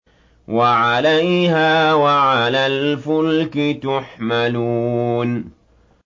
وَعَلَيْهَا وَعَلَى الْفُلْكِ تُحْمَلُونَ